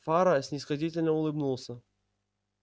фара снисходительно улыбнулся